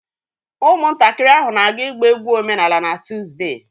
Ụmụntakịrị ahụ na-aga ịgba egwu omenala na Tuzdee